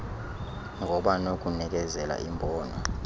ngoba nokunikezela imbono